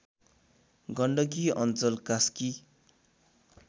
गण्डकी अञ्चल कास्की